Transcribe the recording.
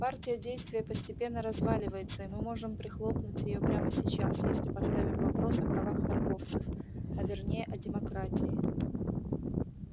партия действия постепенно разваливается и мы можем прихлопнуть её прямо сейчас если поставим вопрос о правах торговцев а вернее о демократии